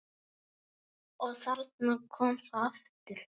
Og þarna kom það aftur!